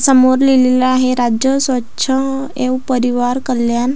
समोर लिहलेलं आहे राज्य स्वच्छ एम परिवार कल्याण --